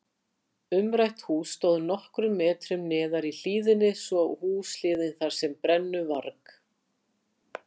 Umrætt hús stóð nokkrum metrum neðar í hlíðinni svo húshliðin þar sem brennuvarg